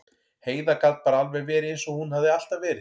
Heiða gat bara alveg verið eins og hún hafði alltaf verið.